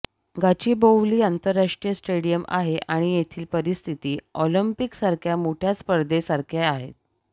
गाचीबोवली आंतरराष्ट्रीय स्टेडियम आहे आणि येथील परिस्थिती ऑलिम्पिक सारख्या मोठ्या स्पर्धे सारख्या आहेत